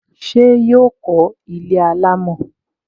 Ṣé yọ kó ilé alámọ̀?